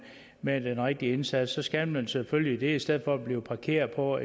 med den rigtige indsats skal man selvfølgelig det i stedet for at blive parkeret på